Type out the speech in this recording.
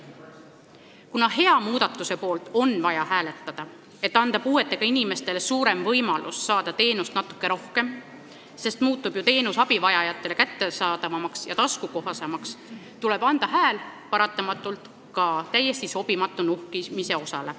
Kuna hea muudatuse poolt on vaja hääletada, et anda puuetega inimestele suurem võimalus saada teenust natuke rohkem – teenus muutub abivajajatele kättesaadavamaks ja taskukohasemaks –, tuleb anda hääl paratamatult ka täiesti sobimatule nuhkimise osale.